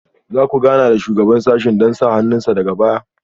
Za ku gana da Shugaban sashen don sa hannun sa daga baya?